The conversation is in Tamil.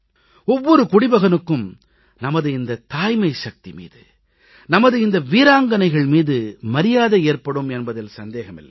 ஒவ்வொரு குடிமகனுக்கும் நமது இந்த தாய்மை சக்தி மீது நமது இந்த வீராங்கனைகள் மீது மரியாதை ஏற்படும் என்பதில் சந்தேகம் இல்லை